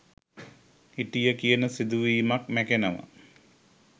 හිටිය කියන සිදුවීමත් මැකෙනව.